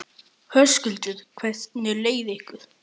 Höskuldur: Hvernig leið ykkur?